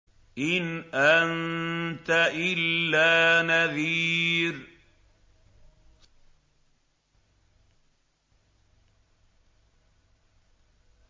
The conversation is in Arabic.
إِنْ أَنتَ إِلَّا نَذِيرٌ